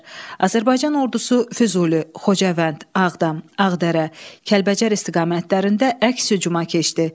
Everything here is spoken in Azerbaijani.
Azərbaycan ordusu Füzuli, Xocavənd, Ağdam, Ağdərə, Kəlbəcər istiqamətlərində əks hücuma keçdi.